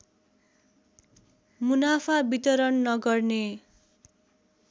मुनाफा वितरण नगर्ने